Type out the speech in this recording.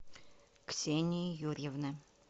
ксении юрьевны